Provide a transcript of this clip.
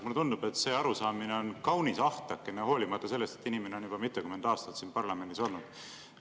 Mulle tundub, et see arusaamine on kaunis ahtakene, hoolimata sellest, et inimene on juba mitukümmend aastat siin parlamendis olnud.